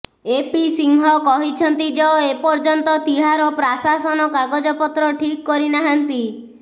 AP Singh କହିଛନ୍ତି ଯ ଏପର୍ଯ୍ୟନ୍ତ ତିହାର ପ୍ରାଶାସନ କାଗଜପତ୍ର ଠିକ୍ କରି ନାହାନ୍ତି